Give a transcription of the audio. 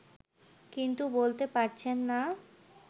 কিন্তু বলতে পারছেন না